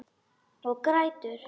Og grætur.